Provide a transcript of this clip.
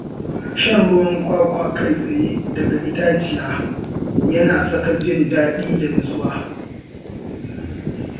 Shan ruwan kwakwa kai tsaye daga itaciya yana saka jin daɗi da nutsuwa.